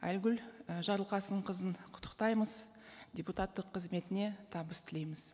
айгүл і жарылқасынқызын құттықтаймыз депутаттық қызметіне табыс тілейміз